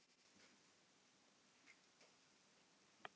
Hvetur fólk til að nota bílbelti